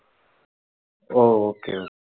ஓ okay